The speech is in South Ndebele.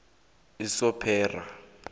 usompera